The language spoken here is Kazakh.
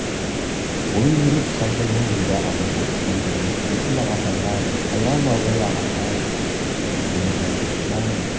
ол еңіреп қушақ жайған бойда абайға тақай бере есіл ағатай-ай қайран абай аға-ай сені қайтіп қиямын